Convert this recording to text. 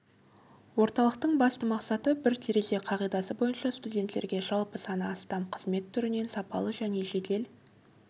орталықтың басты мақсаты бір терезе қағидасы бойынша студенттерге жалпы саны астам қызмет түрінен сапалы және жедел